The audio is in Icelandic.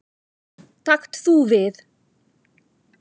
Takt þú við.